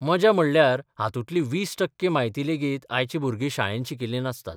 मजा म्हणल्यार हातूंतली 20 टक्के म्हायती लेगीत आयची भुरगीं शाळेत शिकिल्लीं नासतात...